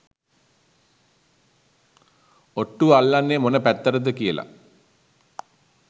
ඔට්ටුව අල්ලන්නෙ මොන පැත්තටද කියල